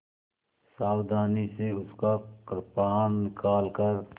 सावधानी से उसका कृपाण निकालकर